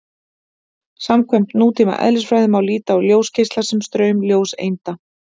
Samkvæmt nútíma eðlisfræði má líta á ljósgeisla sem straum ljóseinda.